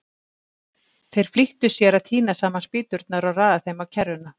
Þeir flýttu sér að tína saman spýturnar og raða þeim á kerruna.